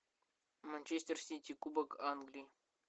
манчестер сити кубок англии